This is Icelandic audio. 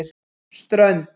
Strönd